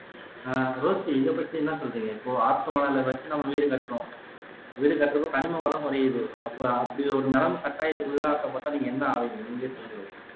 ஹம் Rosie இதைப்பத்தி என்ன சொல்றீங்க இப்ப ஆத்து மணலை வச்சுதான் வீடு கட்டுறோம் வீடு கட்டரப்ப கனிம வளம் குறையிது அப்போ அப்படி ஒரு நிலைமை கட்டாயத்துக்குள்ளாக்கப்பட்டா நீங்க என்ன ஆவீங்க நீங்களே சொல்லுங்க